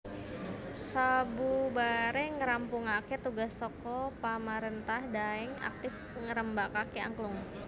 Sabubare ngrampungake tugas saka pamarentah Daeng aktif ngrembakake angklung